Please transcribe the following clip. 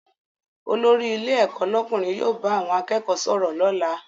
Olórí ilé ẹ̀kọ́ lọ́kùnrin yóò bá àwọn akẹ́kọ̀ọ́ sọ̀rọ̀ lọ́la